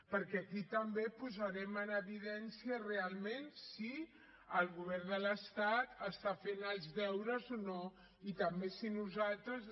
perquè aquí també posarem en evidència realment si el govern de l’estat està fent els deures o no i també si nosaltres